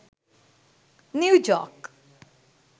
new joke